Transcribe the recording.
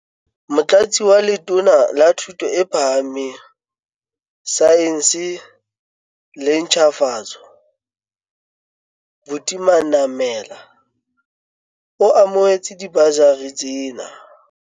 Motlatsi wa Letona la Thuto e Phahameng, Saense le Ntjhafatso, Buti Manamela, o amohetse dibasari tsena.